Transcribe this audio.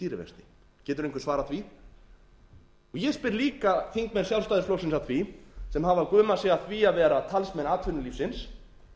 stýrivexti getur einhver svarað því ég spyr líka þingmenn sjálfstæðisflokksins að því sem hafa gumað sig af því að vera talsmenn atvinnulífsins